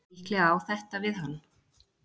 Líklega á þetta við hann.